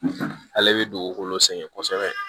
Ale bɛ dugukolo sɛgɛn kosɛbɛ